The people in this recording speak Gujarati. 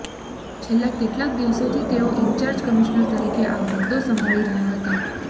છેલ્લા કેટલાક દિવસોથી તેઓ ઈન્ચાર્જ કમિશનર તરીકે આ હોદ્દો સંભાળી રહ્યા હતા